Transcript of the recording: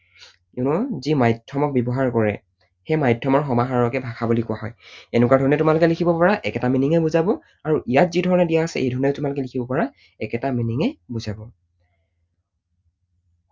You know যি মাধ্যমক ব্যৱহাৰ কৰে সেই মাধ্যমৰ সমাহাৰকে ভাষা বুলি কোৱা হয়। এনেকুৱা ধৰণে তোমালোকে লিখিব পাৰা, একেটা meaning এ বুজাব আৰু ইয়াত যি ধৰণে দিয়া আছে এইধৰণেও তোমালোকে লিখিব পাৰা, একেটা meaning এ বুজাব।